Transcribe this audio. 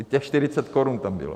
I těch 40 korun tam bylo.